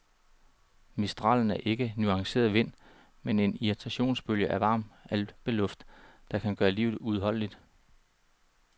Mistralen er ikke en nuanceret vind, men en irritationsbølge af varm alpeluft, der kan gøre livet uudholdeligt.